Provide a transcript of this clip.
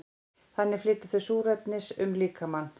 þannig flytja þau súrefnis um líkamann